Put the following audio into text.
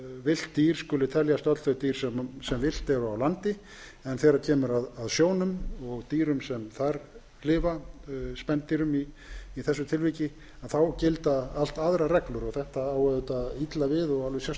villt dýr skuli teljast öll þau dýr sem villt eru á landi en þegar kemur að sjónum og dýrum sem þar lifa spendýrum í þessu tilviki þá gilda allt aðrar reglur og þetta á auðvitað alveg sérstaklega illa við um seli áður hefur